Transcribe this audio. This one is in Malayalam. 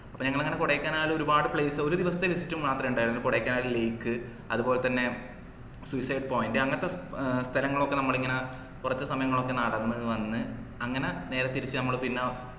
അപ്പൊ ഞങ്ങളങ്ങന കൊടൈക്കനാൽ ഒരുപാട് place ഒരു ദിവസത്തെ visit മാത്രേ ഉണ്ടായിരുന്നുള്ളു കൊടൈക്കനാൽ lake അതുപോലെതന്നെ suicide point അങ്ങത്തെ സ്ഥലങ്ങളൊക്കെ നമ്മളിങ്ങനെ കുറച്ച് സമയങ്ങളൊക്കെ നടന്ന് വന്ന് അങ്ങന നേരെ തിരിച്ച നമ്മളു പിന്ന